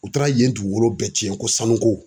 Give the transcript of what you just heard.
U taara yen dugukolo bɛɛ tiɲɛ ko sanu ko.